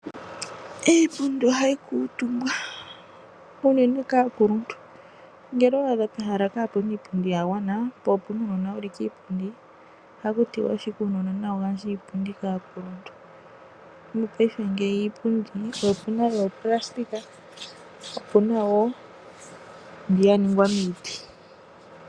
Iipundi ohayi kuutumbwa unene kaakuluntu. Ngele owa adha pehala kaapu na iipundi ya gwana po opu na uunona wu li kiipundi ohaku tiwa ashike uunona nawu gandje iipundi kaakuluntu. Mopaife iipundi oku na mbyoka ya ningwa moopulastika po opu na wo mbyoka ya ningwa miiti.